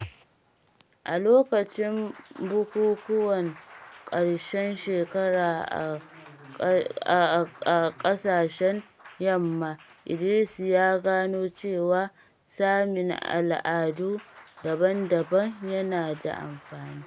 A lokacin bukukkuwan ƙarshen shekara a ƙasashen Yamma, Idris ya gano cewa sanin al’adu daban-daban yana da amfani.